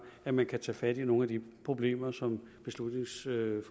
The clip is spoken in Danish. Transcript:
at man kan tage fat i nogle af de problemer som beslutningsforslaget